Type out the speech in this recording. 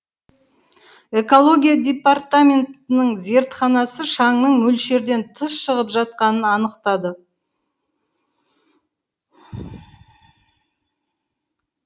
экология департаментінің зертханасы шаңның мөлшерден тыс шығып жатқанын анықтады